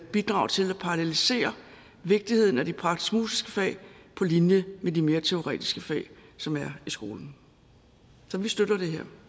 bidrage til at parallelisere vigtigheden af de praktisk musiske fag på linje med de mere teoretiske fag som er i skolen så vi støtter